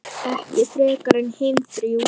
Ekki frekar en hin þrjú.